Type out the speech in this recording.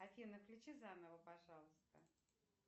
афина включи заново пожалуйста